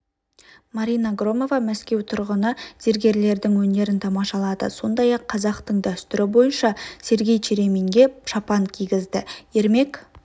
марина громова мәскеу тұрғыны зергерлердің өнерін тамашалады сондай-ақ қазақтың дәстүрі бойынша сергей череминге шапан кигізді ермек